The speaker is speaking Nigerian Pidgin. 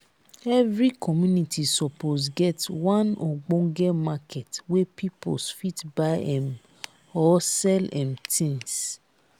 every community suppose get one ogbonge market wey pipos fit buy um or sell um tins.